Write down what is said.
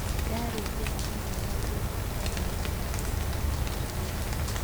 Yaari njĩra imwe ya kũnduta nja ya magerio,"akiuga